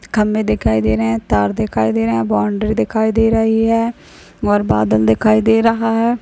खंभे दिखाई दे रहा है तार दिखाई दे रहे है बॉउंड्री दिखाई दे रही है और बादल दिखाई दे रहा हैं।